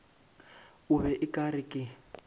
be o ka re ke